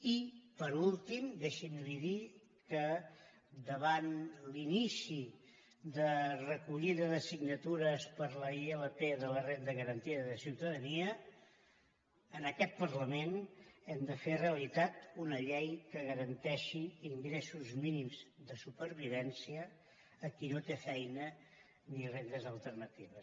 i per últim deixi’m dir li que davant l’inici de recollida de signatures per a la ilp de la renda garantida de ciutadania en aquest parlament hem de fer realitat una llei que garanteixi ingressos mínims de supervivència a qui no té feina ni rendes alternatives